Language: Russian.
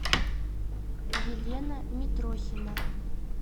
елена митрохина